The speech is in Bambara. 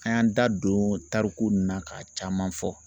An y'an da don tariku nunnu na ka caman fɔ